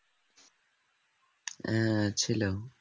হ্যাঁ ছিল